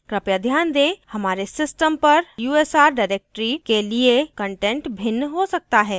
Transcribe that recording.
कृपया ध्यान दें हमारे system पर /usr directory के लिए कंटेंट भिन्न हो सकता है